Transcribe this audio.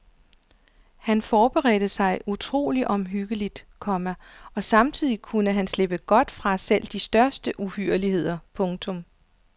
Han forberedte sig utrolig omhyggeligt, komma og samtidig kunne han slippe godt fra selv de største uhyrligheder. punktum